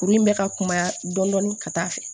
Kuru in bɛ ka kunya dɔɔnin ka taa'a fɛ